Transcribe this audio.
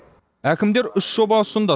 әкімдер үш жоба ұсынды